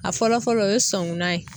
A fɔlɔ fɔlɔ o ye sɔngunan ye